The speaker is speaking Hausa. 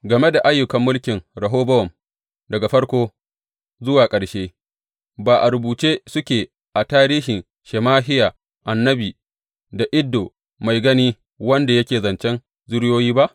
Game da ayyukan mulkin Rehobowam, daga farko zuwa ƙarshe, ba a rubuce suke a tarihin Shemahiya annabi da Iddo mai gani wanda yake zancen zuriyoyi ba?